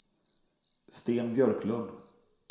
Sten Björklund